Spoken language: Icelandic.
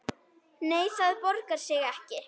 Nei, það borgar sig ekki.